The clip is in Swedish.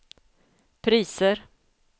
priser